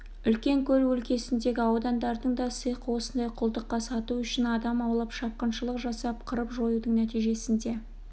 үлкен көл өлкесіндегі аудандардың да сиқы осындай құлдыққа сату үшін адам аулап шапқыншылық жасап қырып-жоюдың нәтижесінде